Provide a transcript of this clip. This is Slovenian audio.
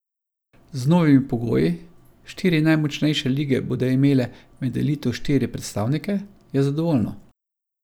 Z novimi pogoji, štiri najmočnejše lige bodo imeli med elito štiri predstavnike, je zadovoljno.